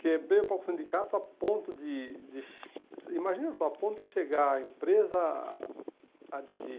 Quebrei o pau com o sindicato a ponto de de, imagina só, a ponto de chegar a empresa a decidir,